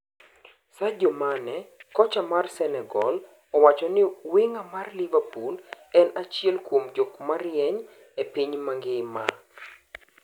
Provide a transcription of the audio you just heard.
Sadio Mane: Kocha mar Senegal owachoni wing'a mar Liverpool en achiel kuom jokmarieny epiny mangima.